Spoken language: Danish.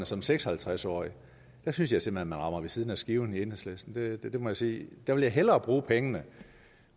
som seks og halvtreds årig der synes jeg simpelt hen man rammer ved siden af skiven i enhedslisten det må jeg sige jeg ville hellere bruge pengene